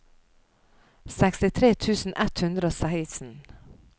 sekstitre tusen ett hundre og seksten